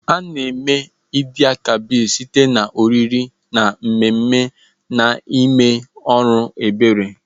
A-na eme Eid-el-Kabir site na oriri na mmemme na ime ọrụ ebere.